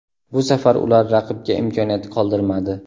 Bu safar ular raqibga imkoniyat qoldirmadi.